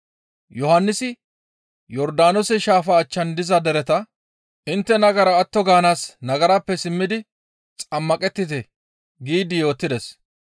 Yohannisi Yordaanoose shaafa achchan diza dereta, «Intte nagara atto gaanaas nagarappe simmidi xammaqettite» giidi yootides;